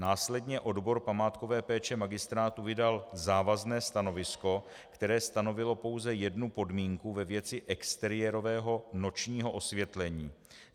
Následně odbor památkové péče magistrátu vydal závazné stanovisko, které stanovilo pouze jednu podmínku ve věci exteriérového nočního osvětlení.